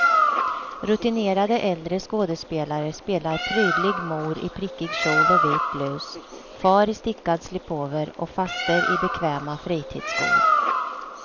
Rutinerade äldre skådespelare spelar prydlig mor i prickig kjol och vit blus, far i stickad slipover och faster i bekväma fritidsskor.